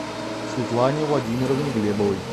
светлане владимировне глебовой